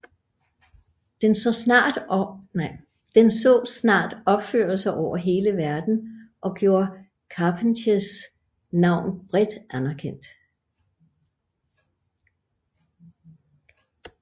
Den så snart opførelser over hele verden og gjorde Charpentiers navn bredt anerkendt